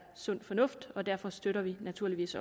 sund fornuft og derfor støtter vi naturligvis